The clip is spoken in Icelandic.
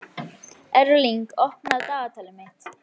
Erling, opnaðu dagatalið mitt.